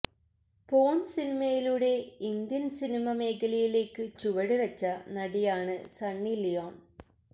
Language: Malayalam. പോൺ സിനിമയിലൂടെ ഇന്ത്യൻ സിനിമ മേഖലയിലേയ്ക്ക് ചുവട് വെച്ച നടിയാണ് സണ്ണി ലിയോൺ